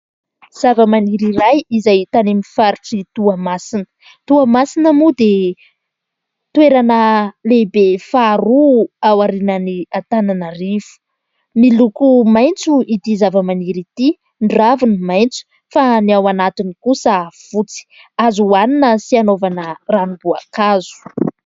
Zavamaniry iray izay hita any amin'ny faritr'i Toamasina. Toamasina moa dia toerana lehibe faharoa ao aorianan'i Antananarivo. Miloko maitso ity zavamaniry ity ny raviny maitso fa ny ao anatiny kosa fotsy ; azo hohanina sy hanaovana ranom-boankazo.